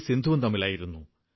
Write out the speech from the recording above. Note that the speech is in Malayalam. സിന്ധുവും തമ്മിലായിരുന്നു